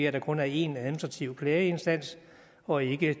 at der kun er én administrativ klageinstans og ikke